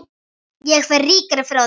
Ég fer ríkari frá þeim.